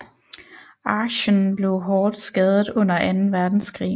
Aachen blev hårdt skadet under Anden Verdenskrig